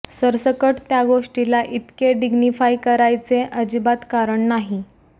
सरसकट त्या गोष्टीला इतके डिग्निफाय करायचे आजिबात कारण नाही